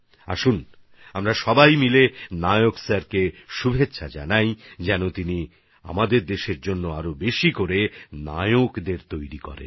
আসুন আমরা সবাই মিলে নায়ক স্যারকে শুভেচ্ছা জানাই যাতে তিনি আমাদের দেশের জন্য আরও অনেক বেশি নায়ক তৈরি করেন